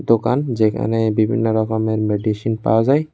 দোকান যেইখানে বিভিন্নরকমের মেডিসিন পাওয়া যায়।